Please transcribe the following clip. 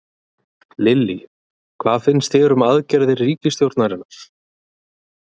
Lillý: Hvað finnst þér um aðgerðir ríkisstjórnarinnar?